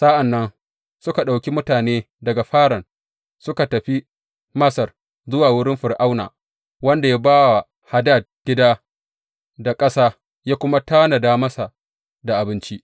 Sa’an nan suka ɗauki mutane daga Faran suka tafi Masar, zuwa wurin Fir’auna wanda ya ba wa Hadad gida da ƙasa, ya kuma tanada masa da abinci.